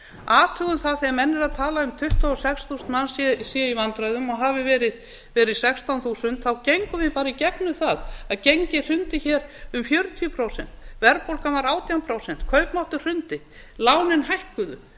athugum það þegar menn eru að tala um tuttugu og sex þúsund manns séu í vandræðum og hafi verið sextán þúsund gengum við bara í gegnum það að gengið hrundi hér um fjörutíu prósent verðbólgan var átján prósent kaupmáttur hrundi lánin hækkuðu